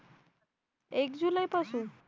एक जुलैपासून